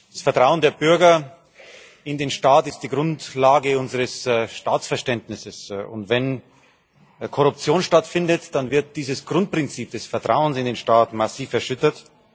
Das Vertrauen der Bürger in den Staat ist die Grundlage unseres Staatsverständnisses, und wenn Korruption stattfindet, dann wird dieses Grundprinzip des Vertrauens in den Staat massiv erschüttert.